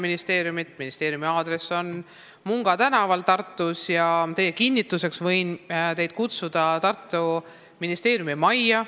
Ministeerium asub Tartus Munga tänaval ja oma sõnade kinnituseks võin teid kutsuda Tartu ministeeriumimajja.